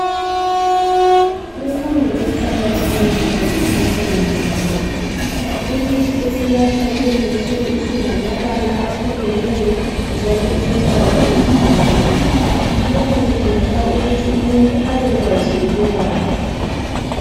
Imfundo iqakathekile bakithi empilweni zabantu. Imithi esinathwa kulezinsuku isilamabala ahlukeneyo njalo ilembala engafananiyo, lokhu kudingeka ukuthi umuntu abekwazi ukubala.